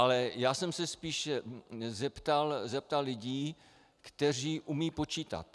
Ale já jsem se spíš zeptal lidí, kteří umějí počítat.